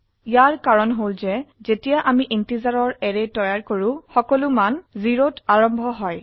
ইয়াৰ কাৰন হল যে যেতিয়া আমি ইন্টিজাৰৰ অ্যাৰে তৈয়াৰ কৰো সকলো মান 0 ত আৰম্ভ হয়